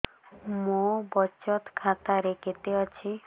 ମୋ ବଚତ ଖାତା ରେ କେତେ ଅଛି